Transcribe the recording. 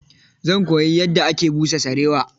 Zan koyi yadda ake busa sarewa.